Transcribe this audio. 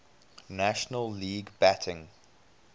national league batting